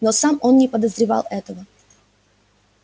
но сам он не подозревал этого